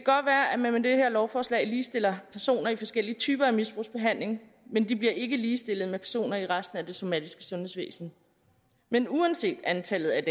at man med det her lovforslag ligestiller personer i forskellige typer af misbrugsbehandling men de bliver ikke ligestillet med personer i resten af det somatiske sundhedsvæsen men uanset antallet af